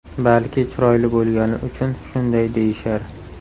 Balki chiroyli bo‘lgani uchun shunday deyishar?